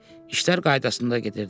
İşlər qaydasında gedirdi.